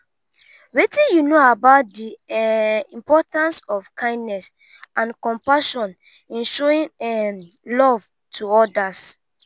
wetin you know about di um importance of kindness and compassion in showing um love to odas?